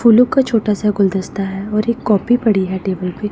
फूलों का छोटा सा गुलदस्ता है और एक कॉपी पड़ी है टेबल पे--